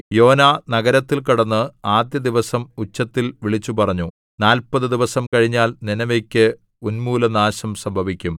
യോനാ നഗരത്തിൽ കടന്ന് ആദ്യ ദിവസം ഉച്ചത്തിൽ വിളിച്ചു പറഞ്ഞു നാല്പതു ദിവസം കഴിഞ്ഞാൽ നീനെവേക്ക് ഉന്മൂലനാശം സംഭവിക്കും